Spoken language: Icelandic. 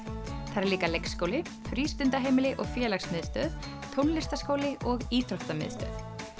þar er líka leikskóli frístundaheimili og félagsmiðstöð tónlistarskóli og íþróttamiðstöð